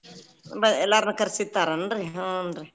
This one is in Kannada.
ಎಲ್ಲಾರ್ನು ಕರ್ಸಿರ್ತಾರ್ ಏನ್ರೀ ಹುಂ ರೀ.